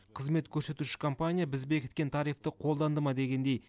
қызмет көрсетуші компания біз бекіткен тарифті қолданды ма дегендей